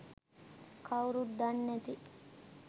කවුරුත් දන්නැති